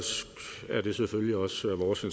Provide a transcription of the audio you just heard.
også